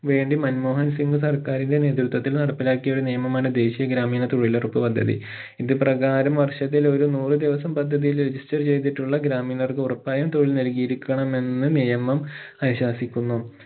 വേണ്ടി മൻമോഹൻ സിംഗ് സർക്കാറിലെ നേത്യത്വത്തില്‍ നടപ്പിലാക്കിയ ഒരു നിയമമാണ് ദേശീയ ഗ്രാമീണ തൊഴിലുറപ്പ് പദ്ധതി ഇത് പ്രകാരം വർഷത്തിൽ ഒരു നൂറു ദിവസം പദ്ധതിയിൽ register ചെയ്തിട്ടുള്ള ഗ്രാമീണർക്ക് ഉറപ്പായും തൊഴിൽ നൽകിയിരിക്കണമെന്ന് നിയമം അനുശാസിക്കുന്നു